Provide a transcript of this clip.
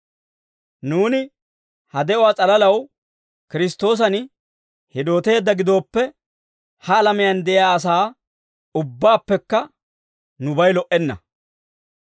Nuuni ha de'uwaa s'alalaw Kiristtoosan hidooteedda gidooppe, ha alamiyaan de'iyaa asaa ubbaappekka nubay lo"enna.